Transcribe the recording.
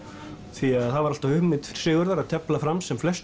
því að það var alltaf hugmynd Sigurðar að tefla fram sem flestum